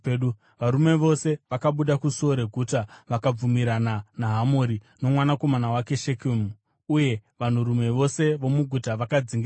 Varume vose vakabuda kusuo reguta vakabvumirana naHamori nomwanakomana wake Shekemu, uye vanhurume vose vomuguta vakadzingiswa.